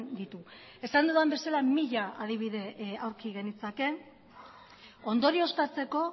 ditu esan dudan bezala mila adibide aurki genitzake ondorioztatzeko